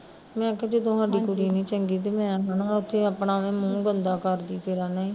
ਮੈਂ ਕਿਹਾ ਜਦੋਂ ਸਾਡੀ ਕੁੜੀ ਨੀ ਚੰਗੀ ਤੇ ਮੈਂ ਹੈਨਾ ਉੱਥੇ ਆਪਣਾ ਅਵੇ ਮੂਹ ਕਰਦੀ ਫਿਰਾ ਕਿ ਨਹੀਂ